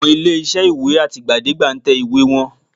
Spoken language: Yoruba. Àwọn ilé-iṣẹ́ ìwé àtìgbàdégbà ń tẹ ìwé wọn